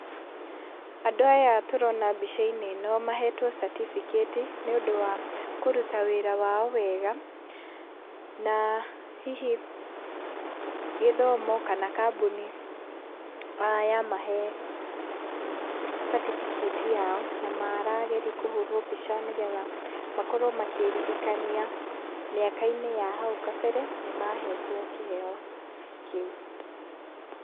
Andũ aya tũrona mbica-inĩ ĩno mahetwo catibikĩti nĩ ũndũ wa kũruta wĩra wao wega , na hihi gĩthomo kana kambũni ya mahe catibikĩti yao , na marageria kũhũrwo mbica nĩgetha makorwo makĩririkania mĩaka-inĩ ya hau gabere nĩ mahetwo kĩheo kĩu.